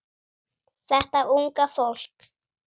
Þetta unga fólk.